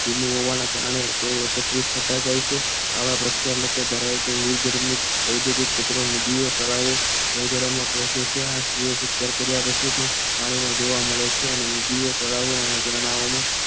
ધીમું હોવાના તેવો કારણે તેઓ એકત્રિત થતા જાય છે આવા પ્રક્ષાલકો ધરાવતું નિર્ગમ્ય ઔદ્યોગ કચરો નદીઓ તળાવ અને ઝરણાં પોચે છે અને પછી પણ પાણીમાં જોવા મળે છે અને નદીઓ તળાવ અને ઝરણાં